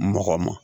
Mɔgɔ ma